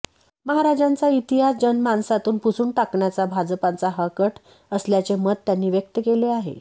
महाराजांचा इतिहास जनमानसातून पुसून टाकण्याचा भाजपाचा हा कट असल्याचे मत त्यांनी व्यक्त केले आहे